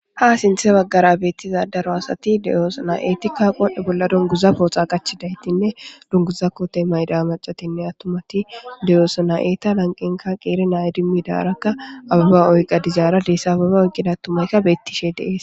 Ha sinthe baggara beettiza daro asati deyoosana eetikka qohdhe bolla dunguza pooxa qachidaytinne dunguza koote mayda macatinne attumati deyoosana eeta lanqenka qeere naaya dimmidarakka ababa oyqa dizaara deessi ababa oyqqida tumayka beettishee deees.